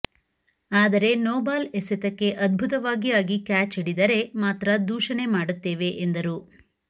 ಆದರೆ ನೋಬಾಲ್ ಎಸೆತಕ್ಕೆ ಅದ್ಭುತವಾಗಿ ಆಗಿ ಕ್ಯಾಚ್ ಹಿಡಿದರೆ ಮಾತ್ರ ದೂಷಣೆ ಮಾಡುತ್ತೇವೆ ಎಂದರು